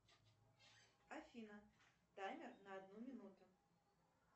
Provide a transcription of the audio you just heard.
афина таймер на одну минуту